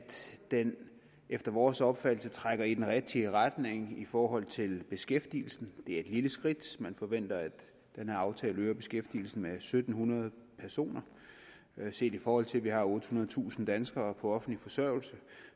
den efter vores opfattelse trækker i den rigtige retning i forhold til beskæftigelsen det er et lille skridt man forventer at den her aftale øger beskæftigelsen med en tusind syv hundrede personer set i forhold til at vi har ottehundredetusind danskere på offentlig forsørgelse